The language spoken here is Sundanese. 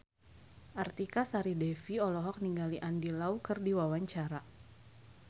Artika Sari Devi olohok ningali Andy Lau keur diwawancara